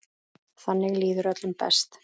Þannig líður öllum best.